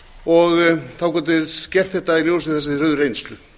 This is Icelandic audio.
og þá gátu þeir sem þeir höfðu reynslu